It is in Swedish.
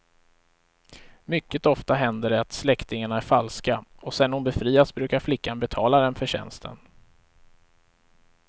Mycket ofta händer det att släktingarna är falska, och sen hon befriats brukar flickan betala dem för tjänsten.